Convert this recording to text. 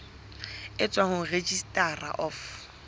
e tswang ho registrar of